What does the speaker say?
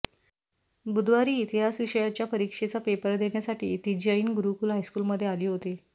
बुधवारी इतिहास विषयाच्या परीक्षेचा पेपर देण्यासाठी ती जैन गुरूकूल हायस्कूलमध्ये आली होती